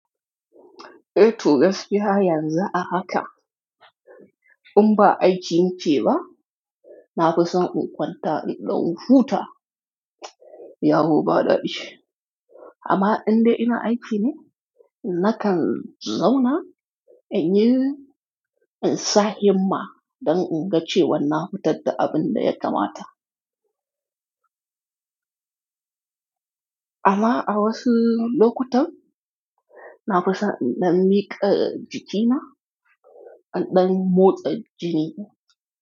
Eh To gaskiya yanzu a haka. In ba aiki muke ba, na fi son in kwanta in ɗan huta. Yahu baɗaɗɗi. Amma in dai ina aiki ne, nakan zauna in yi, in sa himma don in ga cewa na fitar da abin da ya kamata. Amma a wasu lokutan, na fi son na miƙa jikina in ɗan motsa jini.